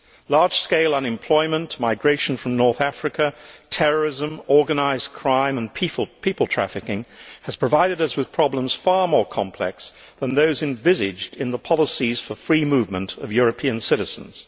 Large scale unemployment, migration from North Africa, terrorism, organised crime and people trafficking have provided us with problems far more complex than those envisaged in the policies for free movement of European citizens.